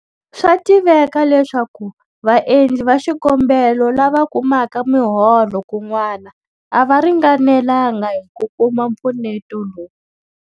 Swa tiveka leswaku vaendli va xikombelo lava kumaka miholo kun'wana a va ringanelanga hi ku kuma mpfuneto lowu.